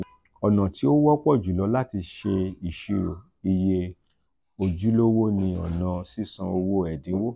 ọna ti o wọpọ julọ lati ṣe iṣiro iye ojulowo ni ọna sisan owo ẹdinwo